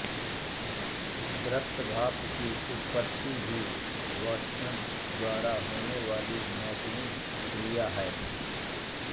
दृश्य भाप की उत्तपति भी वाष्पन द्वारा होनेवाली मौसमी क्रिया है